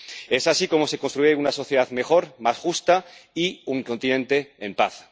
Es así como se construye una sociedad mejor y más justa y un continente en paz.